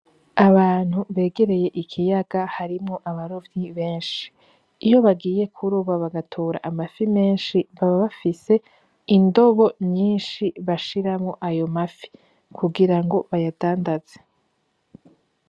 Abantu begereye ikiyaga harimwo abarovyi benshi, iyo bagiye kuroba bagatora amafi menshi baba bafise indobo nyinshi bashiramwo ayo mafi, kugira ngo bayadandaze.